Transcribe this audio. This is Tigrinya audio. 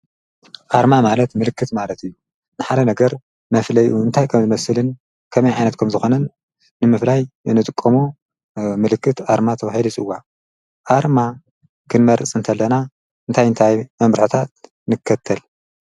ኣርማ ማለት ምልክት ማለት እዩ ንሓለ ነገር መፍለይ እንታይ ከም ዝመስልን ከመይ ኃይነትኩም ዝኾነን ንምፍላይ ነጥቆሙ ምልክት ኣርማ ተውሂልስዋ ኣርማ ክንመርጽ እንተለና እንታይ እንታይ መምብርኁታት ንከተል።